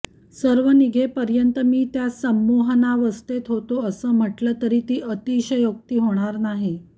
सर्व निघेपर्यंत मी त्या संमोहनावस्थेत होतो असं म्हटलं तर ती अतिशयोक्ती होणार नाही